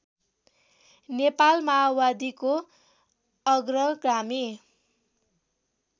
नेपाल माओवादीको अग्रगामी